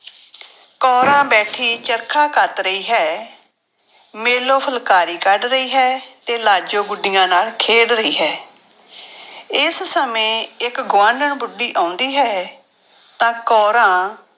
ਕੋਰਾਂ ਬੈਠੀ ਚਰਖਾ ਕੱਤ ਰਹੀ ਹੈ, ਮੇਲੋ ਫੁਲਕਾਰੀ ਕੱਢ ਰਹੀ ਹੈ ਤੇ ਲਾਜੋ ਗੁੱਡੀਆਂ ਨਾਲ ਖੇਡ ਰਹੀ ਹੈ ਇਸ ਸਮੇਂ ਇੱਕ ਗੁਆਂਢਣ ਬੁੱਢੀ ਆਉਂਦੀ ਹੈ ਤਾਂ ਕੋਰਾਂ